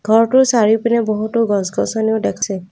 ঘৰটোৰ চাৰিওপিনে বহুতো গছ গছনিও দেখচি।